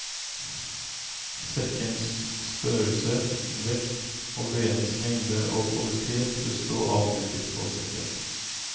Sekkens størrelse, vekt og vedens lengde og kvalitet bør stå avmerket på sekken.